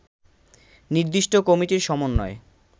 নির্দিষ্ট কমিটির সমন্বয়